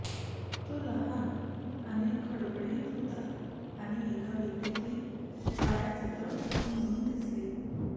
तो लहान आणि खडबडीत होता आणि एका व्यक्तीची छायचित्र म्हणून दिसली